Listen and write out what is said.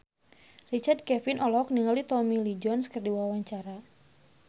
Richard Kevin olohok ningali Tommy Lee Jones keur diwawancara